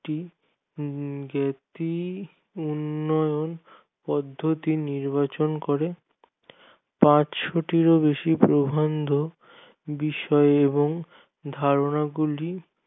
একটি ব্যাক্তি উন্নয়ন পদ্ধতি নির্বাচন করে কাজ সুটিভ বেশি প্রবন্ধ বিষয় এবং ধারণা গুলি